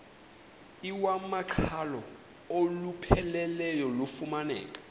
iwamaqhalo olupheleleyo lufumaneka